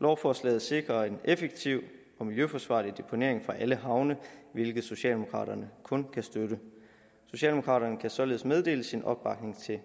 lovforslaget sikrer en effektiv og miljøforsvarlig deponering for alle havne hvilket socialdemokraterne kun kan støtte socialdemokraterne kan således meddele sin opbakning til